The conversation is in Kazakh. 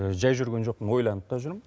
жай жүрген жоқпын ойланып та жүрм